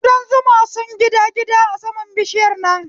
Kudan zuma sun gida gida a saman bishiyar nan